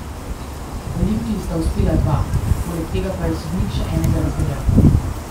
Olimpiji sta uspela dva, poleg tega pa je sodnik še enega razveljavil.